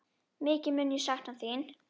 Mikið mun ég sakna þín.